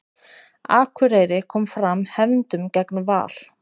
Akureyri kom fram hefndum gegn Val